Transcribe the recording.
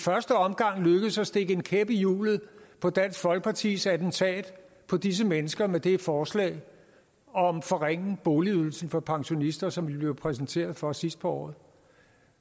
i første omgang lykkedes at stikke en kæp i hjulet på dansk folkepartis attentat på disse mennesker med forslaget om at forringe boligydelsen for pensionister som vi blev præsenteret for sidst på året